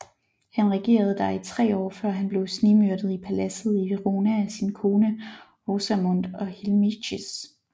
Han regerede der i tre år før han blev snigmyrdet i paladset i Verona af sin kone Rosamond og Hilmichis